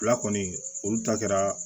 Fila kɔni olu ta kɛra